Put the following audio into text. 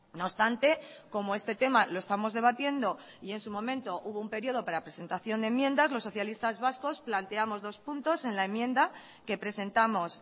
no obstante como este tema lo estamos debatiendo y en su momento hubo un período para presentación de enmiendas los socialistas vascos planteamos dos puntos en la enmienda que presentamos